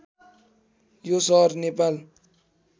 यो सहर नेपाल